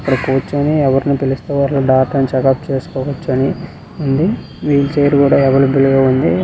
ఇక్కడ కూర్చొని ఎవర్నో పిలుస్తూ డాక్టర్ ని చెకప్ చేస్తూ ఉంది వీల్ చైర్ కూడా అవైలబ్లె లో ఉంది